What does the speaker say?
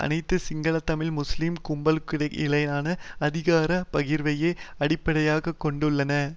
அனைத்தும் சிங்கள தமிழ் முஸ்லிம் கும்பல்களுக்கிடையிலான அதிகார பகிர்வையே அடிப்படையாக கொண்டுள்ளன